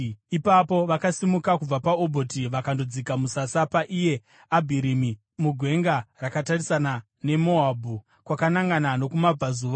Ipapo vakasimuka kubva paObhoti vakandodzika musasa paIye Abharimi, mugwenga rakatarisana neMoabhu kwakanangana nokumabudazuva.